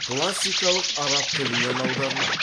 классикалық араб тілінен аударылады